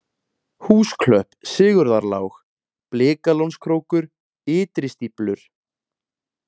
Húsklöpp, Sigurðarlág, Blikalónskrókur, Ytri-Stíflur